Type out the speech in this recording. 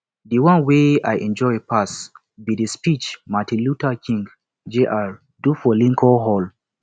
the one wey i enjoy pass be the speech martin luther king jr do for lincoln hall